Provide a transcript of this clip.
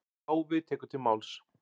Páfi tekur til máls.